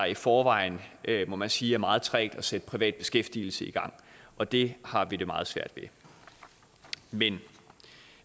i forvejen må man sige er meget trægt at sætte privat beskæftigelse i gang og det har vi det meget svært med men